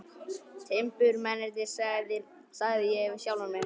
Timburmennirnir, sagði ég við sjálfan mig.